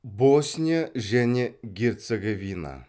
босния және герцеговина